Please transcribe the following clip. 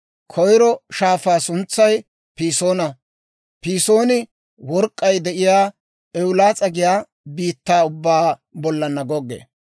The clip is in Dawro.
Koyro shaafaa suntsay Pisoona; Pisooni work'k'ay de'iyaa Ewulaas'a giyaa biittaa ubbaa bollan goggee.